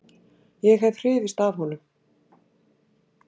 Ég hef hrifist af honum.